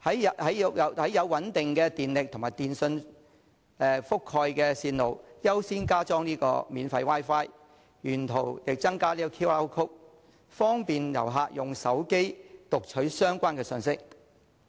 在有穩定電力供應和電訊信號覆蓋的線路優先加裝免費 Wi-Fi， 沿途增加 QR code， 方便旅客用手機讀取相關信息。